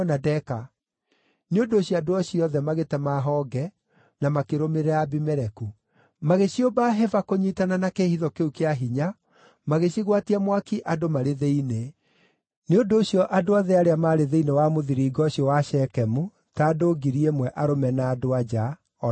Nĩ ũndũ ũcio andũ acio othe magĩtema honge, na makĩrũmĩrĩra Abimeleku. Magĩciũmba hĩba kũnyiitana na kĩĩhitho kĩu kĩa hinya magĩcigwatia mwaki andũ marĩ thĩinĩ. Nĩ ũndũ ũcio andũ acio othe maarĩ thĩinĩ wa mũthiringo ũcio wa Shekemu, ta andũ 1,000, arũme na andũ-a-nja, o nao magĩkua.